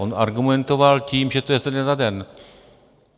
On argumentoval tím, že to je ze dne na den.